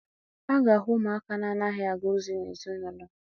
A ga-ahụ ụmụaka na-anaghị aga ozi n'ezinaụlọ.